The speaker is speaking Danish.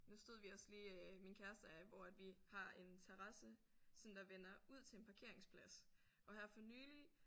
Nu stod vi også lige min kæreste og jeg hvor at vi har en terrasse som der vender ud til en parkeringsplads og her for nylig